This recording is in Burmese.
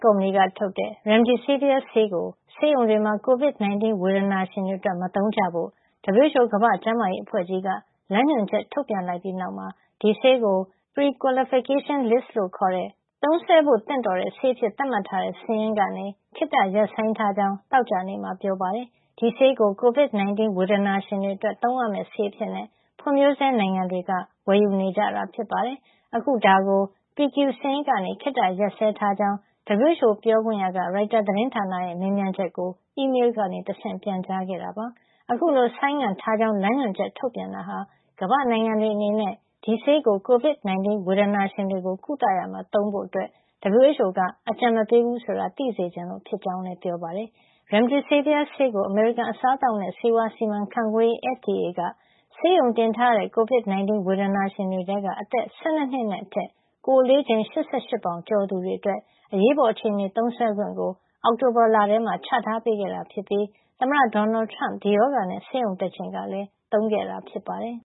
ကုမ္ပဏီက ထုတ်တဲ့ Remdesivir ဆေးကို ဆေးရုံတွေမှာ COVID-19 ဝေဒနာရှင်တွေ အတွက် မသုံးကြဖို့ WHO ကမ္ဘာ့ကျန်းမာရေး အဖွဲ့ကြီးက လမ်းညွှန်ချက် ထုတ်ပြန်လိုက်ပြီးနောက်မှာ ဒီဆေးကို PQ (prequalification list) ခေါ် သုံးစွဲဖို့သင့်တော်တဲ့ ဆေးအဖြစ်သတ်မှတ်ထားတဲ့ စာရင်းကနေ ခေတ္တ ရပ်ဆိုင်းထားကြောင်း သောကြာနေ့မှာ ပြောပါတယ်။ ဒီဆေးကို COVID-19 ဝေဒနာရှင်တွေ အတွက် သုံးရမယ့်ဆေးအဖြစ် ဖွ့ံ့ဖြိုးဆဲ နိုင်ငံတွေက ဝယ်ယူ နေကြတာ ဖြစ်ပါတယ်။ အခု ဒါကို PQ စာရင်းထဲကနေ ခေတ္တ ရပ်စဲထားကြောင်း WHO ပြောခွင့်ရ Tarik Jasarevic က ရိုက်တာသတင်းဌာန ရဲ့ မေးမြန်းချက်ကို အီးမေးလ်ကနေ တဆင့်ပြန်ကြားခဲ့တာ ဖြစ်ပါတယ်။ အခုလို ဆိုင်းငံ့ထားကြောင်း လမ်းညွှန်ချက် ထုတ်ပြန်တာဟာ ကမ္ဘာ့နိုင်ငံတွေ အနေနဲ့ ဒီဆေးကို COVID-19 ဝေဒနာရှင်တွေကို ကုသရာမှာ သုံးဖို့ WHO က အကြံမပေးဘူး ဆိုတာ သိစေချင်လို့ ဖြစ်ကြောင်းလည်း ပြောပါတယ်။ Veklury လို့ခေါ်တဲ့ remdesivir ဆေးကို အမေရိကန် အစားအသောက်နဲ့ ဆေးဝါးစီမံခန့်ခွဲရေး FDA က ဆေးရုံတင်ထားရတဲ့ COVID-19 ဝေဒနာရှင်တွေထဲက အသက် ၁၂ နှစ် အထက်နဲ့ ကိုယ်အလေးချိန် ၈၈ ပေါင်ကျော်သူတွေ အတွက် အရေးပေါ်အခြေနေ သုံးစွဲခွင့်ကို အောက်တိုဘာလထဲမှာ ချထားပေးခဲ့တာ ဖြစ်ပြီး သမ္မတ ဒေါ်နယ်ထရမ့် ဒီရောဂါနဲ့ ဆေးရုံတက်ချိန်ကလည်း သုံးခဲ့တာဖြစ်ပါတယ်